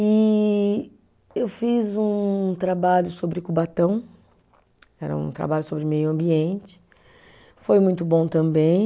E eu fiz um trabalho sobre Cubatão, era um trabalho sobre meio ambiente, foi muito bom também.